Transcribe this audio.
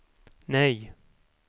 nej